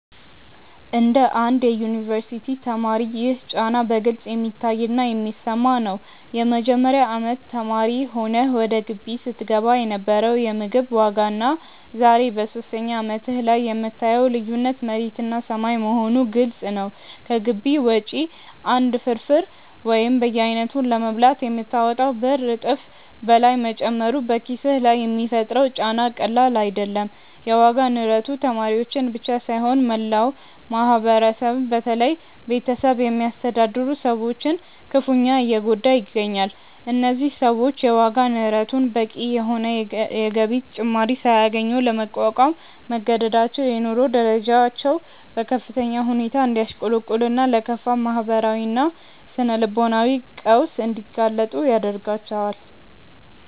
እንደ አንድ የዩኒቨርሲቲ ተማሪ ይህ ጫና በግልጽ የሚታይና የሚሰማ ነው። የመጀመሪያ አመት ተማሪ ሆነህ ወደ ግቢ ስትገባ የነበረው የምግብ ዋጋና ዛሬ በሶስተኛ አመትህ ላይ የምታየው ልዩነት መሬትና ሰማይ መሆኑ ግልጽ ነው። ከግቢ ውጪ አንድ ፍርፍር ወይም በየአይነቱ ለመብላት የምታወጣው ብር እጥፍ በላይ መጨመሩ በኪስህ ላይ የሚፈጥረው ጫና ቀላል አይደለም። የዋጋ ንረቱ ተማሪዎችን ብቻ ሳይሆን መላውን ማህበረሰብ በተለይም ቤተሰብ የሚያስተዳድሩ ሰዎችን ክፉኛ እየጎዳ ይገኛል። እነዚህ ሰዎች የዋጋ ንረቱን በቂ የሆነ የገቢ ጭማሪ ሳያገኙ ለመቋቋም መገደዳቸው የኑሮ ደረጃቸው በከፍተኛ ሁኔታ እንዲያሽቆለቁልና ለከፋ ማህበራዊና ስነ-ልቦናዊ ቀውስ እንዲጋለጡ ያደርጋቸዋል።